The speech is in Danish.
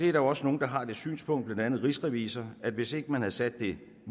er også nogle der har det synspunkt blandt andet rigsrevisor at regningen hvis ikke man havde sat det